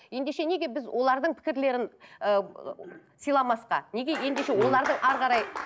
ендеше неге біз олардың пікірлерін ііі сыйламасқа неге ендеше олардың әрі қарай